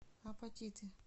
апатиты